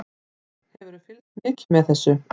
Hefurðu fylgst mikið með þessu?